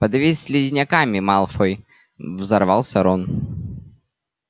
подавись слизняками малфой взорвался рон